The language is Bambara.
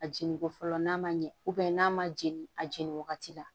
A jeniko fɔlɔ n'a ma ɲɛ n'a ma jeli a jeni wagati la